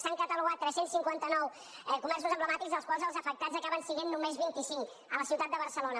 s’han catalogat tres cents i cinquanta nou comerços emblemàtics dels quals els afectats acaben sent només vint cinc a la ciutat de barcelona